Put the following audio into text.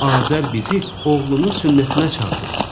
Azər bizi oğlunun sünnətinə çağırır.